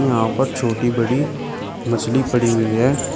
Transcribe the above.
यहां पर छोटी बड़ी मछली पड़ी हुई है।